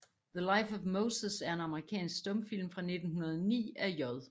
The Life of Moses er en amerikansk stumfilm fra 1909 af J